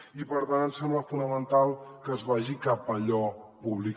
i per tant ens sembla fonamental que es vagi cap a allò públic